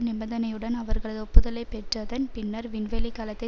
நிபந்தனையுடன் அவர்களது ஒப்புதலை பெற்றதன் பின்னர் விண்வெளி கலத்தை